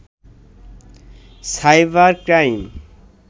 cyber crime